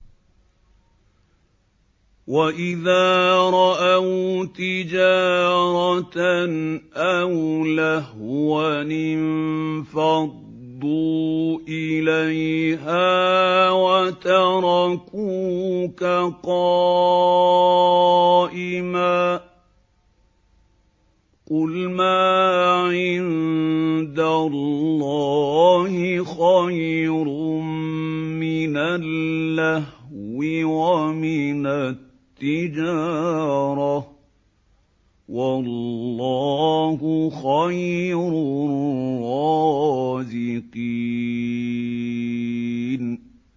وَإِذَا رَأَوْا تِجَارَةً أَوْ لَهْوًا انفَضُّوا إِلَيْهَا وَتَرَكُوكَ قَائِمًا ۚ قُلْ مَا عِندَ اللَّهِ خَيْرٌ مِّنَ اللَّهْوِ وَمِنَ التِّجَارَةِ ۚ وَاللَّهُ خَيْرُ الرَّازِقِينَ